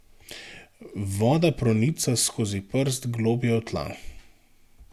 Voda pronica skozi prst globlje v tla.